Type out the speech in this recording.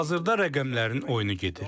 Hazırda rəqəmlərin oyunu gedir.